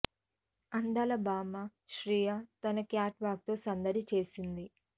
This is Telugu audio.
అందాల భామ శ్రియ తన క్యాట్ వాక్ తో సందటి చేసింది